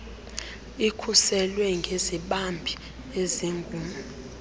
ikhuselwe ngezibambi ezingu